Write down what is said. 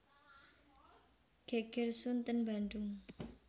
Geger Sunten Bandung